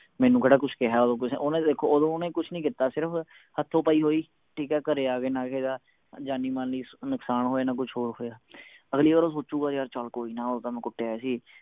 ਮੈਨੂੰ ਕਿਹੜਾ ਕੁਸ਼ ਕਿਹਾ ਉਦੋਂ ਕਿਸੇ ਨੇ ਓਹਨੇ ਦੇਖੋ ਓਦੋਂ ਓਹਨੇ ਕੁਸ਼ ਨਹੀਂ ਕੀਤਾ ਸਿਰਫ ਹਥੋਪਾਈ ਹੋਈ ਠੀਕ ਹੈ ਘਰੇ ਆਗੇ ਨਾ ਜਾਣੀ ਮਾਲੀ ਨੁਕਸਾਨ ਹੋਇਆ ਨਾ ਕੁਛ ਹੋਰ ਹੋਇਆ ਅਗਲੀ ਵਾਰ ਉਹ ਸੋਚੂਗਾ ਚੱਲ ਕੋਈ ਨਾ ਓਦੋਂ ਤਾਂ ਮੈਂ ਕੁੱਟ ਆਇਆ ਸੀ